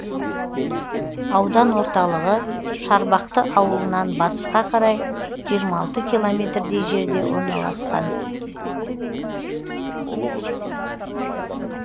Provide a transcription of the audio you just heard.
аудан орталығы шарбақты ауылынан батысқа қарай жиырма алты километр дей жерде орналасқан